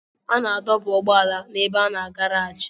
A na-adọba ụgbọala n'ebe a na garaajị.